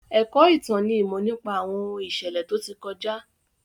Ẹ̀kọ́ ìtàn ni ìmọ̀ nípa àwọn ohun ìṣẹ̀lẹ̀ tó ti kọjá.